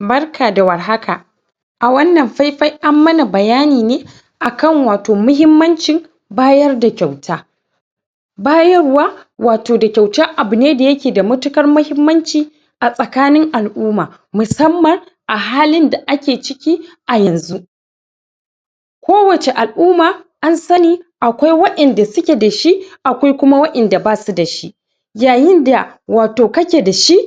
Barka da warhaka! A wannan fai-fai an mana bayani ne akan wato muhimmancin bayar da kyauta. Bayarwa wato da kyauta abu ne da ya ke da matuƙat muhimmanci, a tsakanin al'umma, musamman a halin da ake ciki a yanzu. Kowace al'umma an sani akwai waƴanda su ke da shi, akwai kuma waƴanda ba su da shi. Yayin da wato kake da shi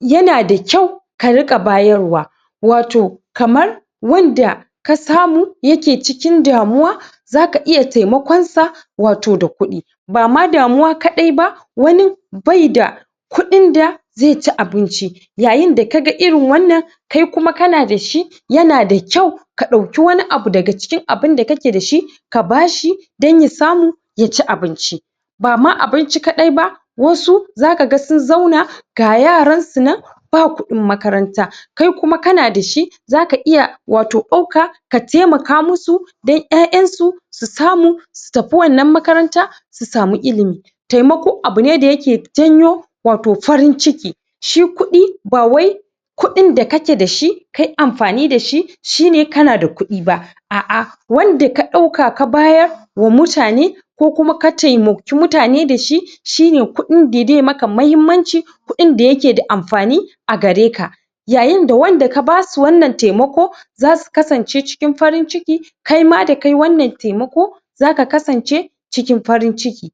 ya na da kyau ka riƙa bayarwa wato kamar wanda ka samu ya ke cikin damuwa za ka iya taimakon sa wato da kuɗi ba ma damuwa kaɗai ba, wani bai da kuɗin da zai ci abinci. Yayin da ka ga irin wannan kai kuma ka na da shi, ya na da kyau ka ɗauki wani abu daga cikin abun da kake da shi ka ba shi don ya samu ya ci abinci, ba ma abinci kaɗai ba. Wasu za ka ga sun zauna ga yaran su nan ba kuɗin makaranta, kai kuma ka na da shi za ka iya wato ɗauka ka taimaka musu don ƴaƴansu su samu, su tafi wannan makaranta su samu ilimi. Taimako abu ne da ya ke janyo wato farin ciki. Shi kuɗi ba wai kuɗin da kake da shi kai amfani da shi shi ne ka na da kuɗi ba, a'a wanda ka ɗauka ka bayarwa mutane ko kuma ka taimaki mutane da shi, shi ne kuɗin da dai maka muhimmanci kuɗin da ya ke da amfani a gare ka Yayin da wanda ka basu wannan taimako za su kasance cikin farin ciki. Kai ma da kayi wannan taimako za ka kasance cikin farin ciki.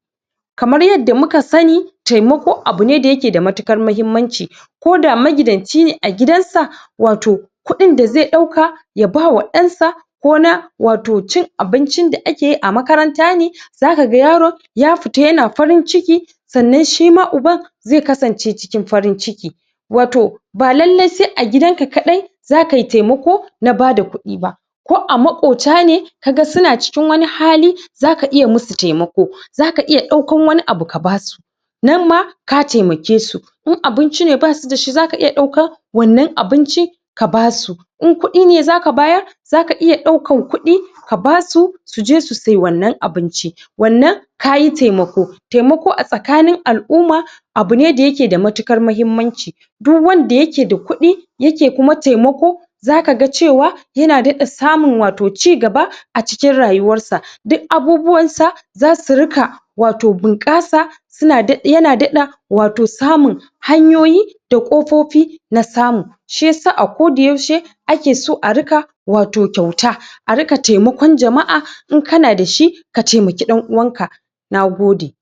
Kamar yadda muka sani, taimako abu ne da ya ke da matuƙar muhimmanci, ko da magidanci ne a gidansa, wato kuɗin da zai ɗauka ya bawa ɗan sa ko na wato cin abincin da ake yi a makaranta ne, za ka ga yaro ya fita ya na farin ciki sannan shi ma uban zai kasance cikin farin ciki. Wato ba lallai sai gidan ka kaɗai za kai taimako na ba da kuɗi ba. Ko a maƙwota ne, ka ga su na cikin wani hali za ka iya musu taimako, za ka iya ɗaukan wani abu ka basu. Nan ma ka taimake su. In abinci ne ba su da shi, za ka iya ɗaukan wannan abincin ka ba su. In kuɗi ne za ka bayar, za ka iya ɗaukan kuɗi ka ba su, su je su siye wannan abinci. Wannan kayi taimako. Taimako a tsakanin al'umma abu ne da ya ke da matuƙar muhimmanci duk wanda ya ke da kuɗi, ya ke kuma taimako za ka ga cewa ya na daɗa samun wato cigaba a cikin rayuwarsa, duk abubuwansa za su riƙa wato bunƙasa su na daɗa, ya na daɗa wato samun hanyoyi da ƙofofi na samu. Shi yasa a koda yaushe ake so a riƙa wato kyauta, a riƙa taimakon jama'a in ka na da shi ka taimaki ɗan-uwanka. Nagode!